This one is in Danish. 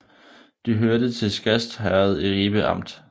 De hørte til Skast Herred i Ribe Amt